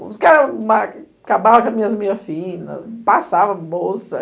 Os caras acabavam com as minhas meias finas, passavam a bolsa.